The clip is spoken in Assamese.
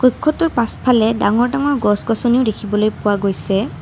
কক্ষটোৰ পাছফালে ডাঙৰ ডাঙৰ গছ-গছনিও দেখিবলৈ পোৱা গৈছে।